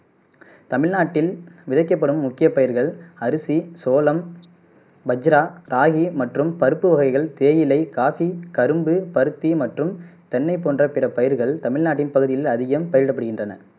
தமிழ்நாட்டில் விளைக்கப்படும் முக்கிய பயிர்கள் அரிசி, சோளம், வஜ்ரா, ராகி மற்றும் பருப்பு வகைகள் தேயிலை காபி கரும்பு பருத்தி மற்றும் தென்னை போன்ற பிற பயிர்கள் தமிழ்நாட்டின் பகுதிகளில் அதிகம் பயிரிடப் படுகின்றன